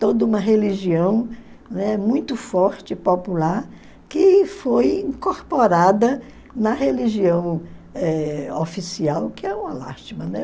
Toda uma religião, né, muito forte, popular, que foi incorporada na religião eh oficial, que é uma lástima. Né?